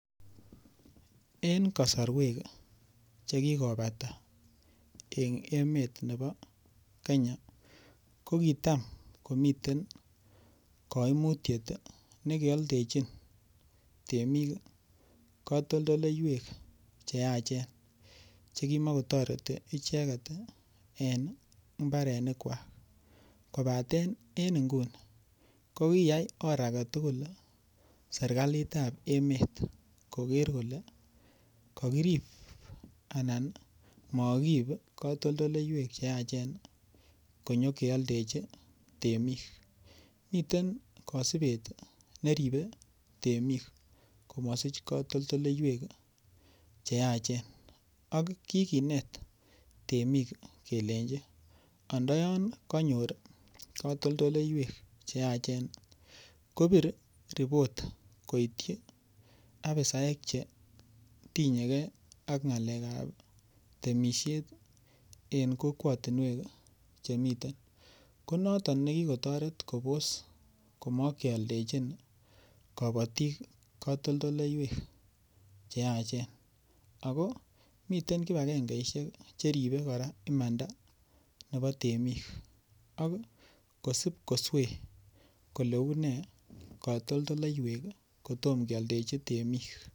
En kosoruek chekikopata en emet nebo Kenya kokitam komiten koimutiet nekeoldechin temik kotondoleiwek cheyachen chekimokotoreti icheket ii en imbarenikwak, kobaten en inguni kokiyai or aketugul sirkalitab emet koker koke kokirib anan mokiib kotondoleiwek cheachen konyokeoldechi temik, miten kosibet neribe temik komosich kotondoleiwek cheyachen ak kikinet temik kelenji ondoyon konyor kotoltoleiywek cheyachen kobir report koityi apisaek chetinyegee ak ngalekab temishet en kokwotinwek chemiten, konoton nekikotoret kobos komokioldechin kobotik kotondoleiwek cheyachen ako miten kipagengeishek cheribe koraa imanda nebo temik ak kosib koswee kole unee kotondoleiwek kotom kioldechi temik.